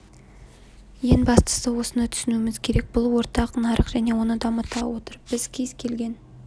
ең бастысы осыны түсінуіміз керек бұл ортақ нарық және оны дамыта отырып біз кез келген